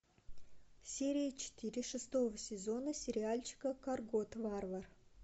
серия четыре шестого сезона сериальчика коргот варвар